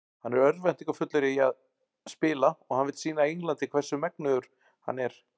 Hann er örvæntingarfullur í að spila og hann vill sýna Englandi hvers megnugur hann er.